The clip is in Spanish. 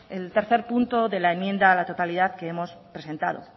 el tercer punto de la enmienda a la totalidad que hemos presentado